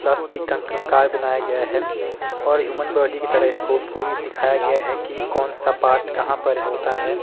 Plastic का कंकाल बनाया गया है और ह्यूमन बॉडी की तरह इसको पूरी दिखाया गया है कि कौन सा पार्ट कहां पर होता है।